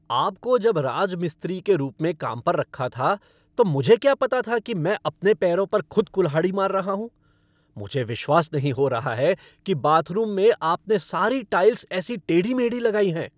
आपको जब राजमिस्त्री के रूप में काम पर रखा था तो मुझे क्या पता था कि मैं अपने पैरों पर खुद कुल्हाड़ी मार रहा हूँ। मुझे विश्वास नहीं हो रहा है कि बाथरूम में आपने सारी टाइल्स ऐसी टेढ़ी मेढ़ी लगाई हैं।